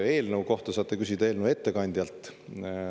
Eelnõu kohta saate küsida eelnõu ettekandjalt.